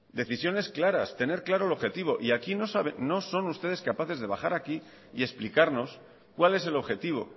decisiones claras tener claro el objetivo y aquí no son ustedes capaces de bajar aquí y explicarnos cuál es el objetivo